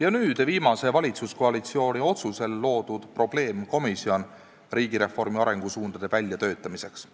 ja nüüd viimase valitsuskoalitsiooni otsusel loodud probleemkomisjonis riigireformi arengusuundade väljatöötamiseks.